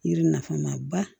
Yiri nafama ba